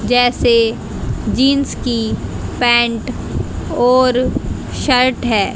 जैसे जींस की पैंट और शर्ट है।